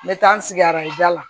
Me taa n sigi araja la